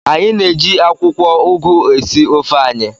Anyị na-eji akwụkwọ ugu esi ofe anyị.